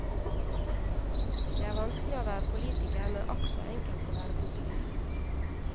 Det er vanskelig å være politiker, men akk så enkelt å være populist.